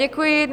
Děkuji.